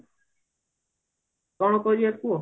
କଣ କରିବା କୁହ